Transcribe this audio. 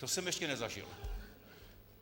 To jsem ještě nezažil.